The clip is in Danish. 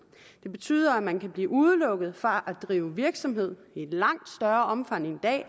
det betyder at man kan blive udelukket fra at drive virksomhed i langt større omfang end i dag